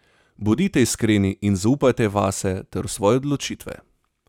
Bodite iskreni in zaupajte vase ter v svoje odločitve.